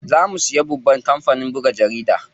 Za mu siya babban kampanin buga jaridu.